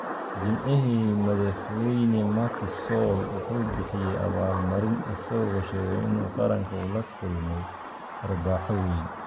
Jimcihii, Madaxweyne Macky Sall wuxuu bixiyay abaal-marin, isagoo sheegay in qaranka uu la kulmay "dharbaaxo weyn".